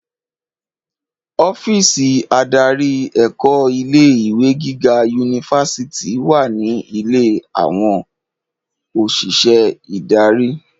Ọ́físì adarí ẹ̀kọ́ ilé ìwé gíga yunifásítì wà ní ilé àwọn òṣìṣẹ́ ìdarí.